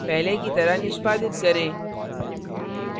पहले की तरह निष्पादित करें